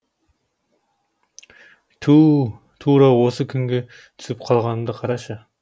туу тура осы күнге түсіп қалғанымды қарашы